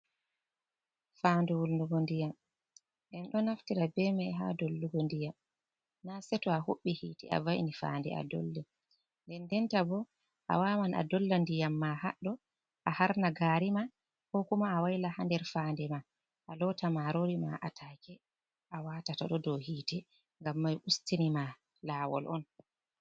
Fande wulnugo ndiyam en ɗo naftira be mai ha dollugo ndiyam na seto a huɓbi hitte a va'ini fande a dollira, nden den ta bo a waman a dolla ndiyam ma ha ɗo a harna gari ma, ko kuma a waylaha ha nder fande ma a lota marori ma a taake a watata to ɗo dow hitte, ngam mam ustini ma lawol on.